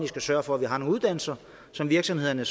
skal sørge for at vi har nogle uddannelser så virksomhederne